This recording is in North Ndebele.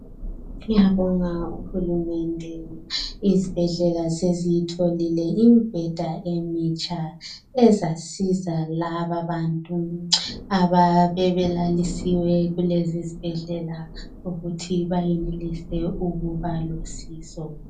Siyabonga uhulumende, izibhedlela seziyitholile imbheda emitsha, ezasiza lababantu ababebelalisiwe kulezi zibhedlela ukuthi bayenelise ukuba losizo.